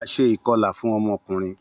A ṣe ikọla fun ọmọ ọkunrin.